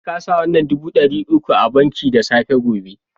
Sai ka sa wannan dubu dari uku a banki da safe gobe